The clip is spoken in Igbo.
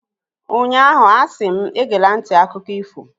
ụnyahụ, a si m, egela nti akụkọ ifo!